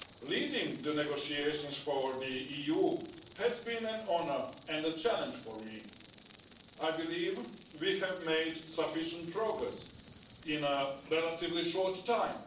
Leading the negotiations for the EU has been an honour and a challenge for me. I believe we have made sufficient progress in a relatively short time.